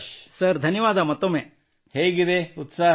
ನೀವು ಯಾವುದಾದರೂ ಕ್ರೀಡೆ ಆಡುತ್ತೀರಾಡಿಒ ಯೂ ಪ್ಲೇ ಅನಿ ಸ್ಪೋರ್ಟ್